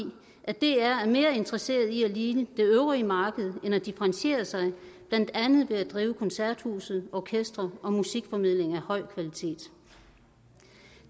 at dr er mere interesseret i at ligne det øvrige marked end at differentiere sig ved blandt andet at drive koncerthuset orkestre og musikformidling af høj kvalitet